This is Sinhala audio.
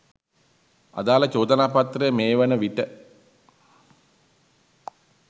අදාල චෝදනාපත්‍රය මේ වන විට